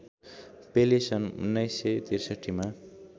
पेले सन् १९६३ मा